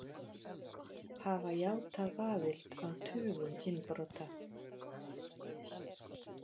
Hafa játað aðild að tugum innbrota